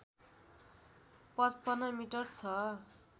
५५ metre छ